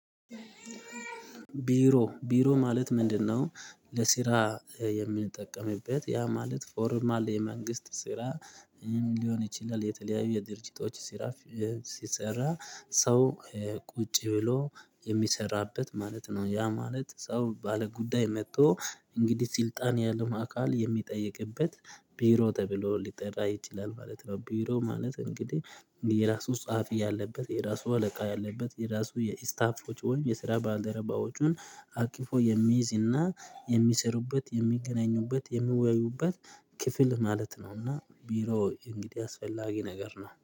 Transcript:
ቢሮ ቢሮ ማለት ምንድን ነው? ለሲራ የምንጠቀምበት ያ ማለት ፎርማል የመንግስት ስራ ሊሆን ይችላል የተለያዩ የድርጅቶች ስራ ሲሰራ ሰው ቁጭ ብሎ የሚሰራበት ማለት ነው። ያ ማለት ሰው ባለ ጉዳይ መጥቶ እንግዲህ ስልጣን ያለው አካል የሚጠይቅበት ቢሮ ተብሎ ሊጠራ ይችላል ማለት ነው። ቢሮ ማለት እንግዲህ የራሱ ጸሐፊ ያለበት የራሱ አለቃ ያለበት የራሱ የስታፎች ወይም የስራ ባልደረባዎቹን አቅፎ የሚይዝ እና የሚሰሩበት የሚገናኙበት የሚወያዩበት ክፍል ማለት ነው። እና ቢሮ እንግዲህ አስፈላጊ ነገር ነው